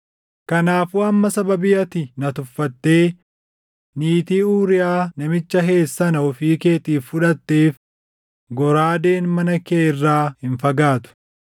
Kanaafuu amma sababii ati na tuffattee niitii Uuriyaa namicha Heet sana ofii keetiif fudhatteef goraadeen mana kee irraa hin fagaatu.’